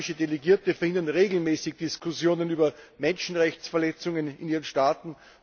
Islamische Delegierte verhindern regelmäßig Diskussionen über Menschenrechtsverletzungen in ihren Staaten.